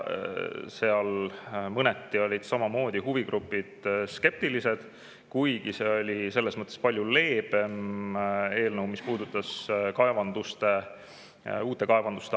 Seal olid huvigrupid mõneti samamoodi skeptilised, kuigi see oli palju leebem eelnõu, mis puudutas uute kaevanduste avamist.